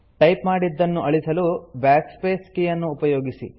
type ಮಾಡಿದ್ದನು ಅಳಿಸಲು Backspace ಕೀಯನ್ನು ಉಪಯೋಗಿಸಿ